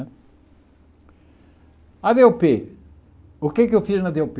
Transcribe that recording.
Né a dê ó pê o que é que eu fiz na dê ó pê?